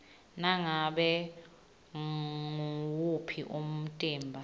ngabe nguwuphi umtimba